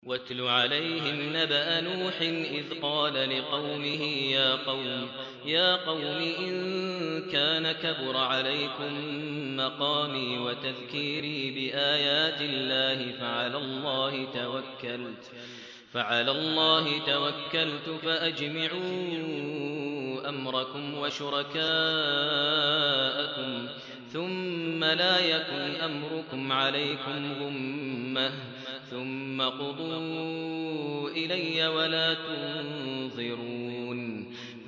۞ وَاتْلُ عَلَيْهِمْ نَبَأَ نُوحٍ إِذْ قَالَ لِقَوْمِهِ يَا قَوْمِ إِن كَانَ كَبُرَ عَلَيْكُم مَّقَامِي وَتَذْكِيرِي بِآيَاتِ اللَّهِ فَعَلَى اللَّهِ تَوَكَّلْتُ فَأَجْمِعُوا أَمْرَكُمْ وَشُرَكَاءَكُمْ ثُمَّ لَا يَكُنْ أَمْرُكُمْ عَلَيْكُمْ غُمَّةً ثُمَّ اقْضُوا إِلَيَّ وَلَا تُنظِرُونِ